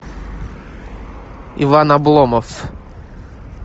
иван обломов